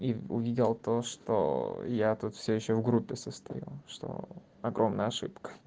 и увидел то что я тут всё ещё в группе состою что огромная ошибка